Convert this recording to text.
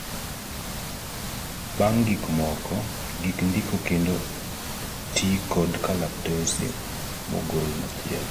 pang gik moko , gik ndiko kendo ti kod kalatase mogol machielo